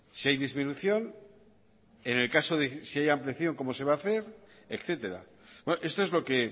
si hay disminución en el caso de si hay ampliación cómo se va a hacer etcétera esto es lo que